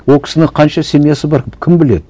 ол кісінің қанша семьясы бар кім біледі